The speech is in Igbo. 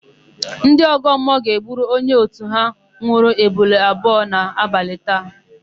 Ndị ọgọmmụọ ga-egburu onye òtù ha nwụrụ ebule abụọ n'abalị taa.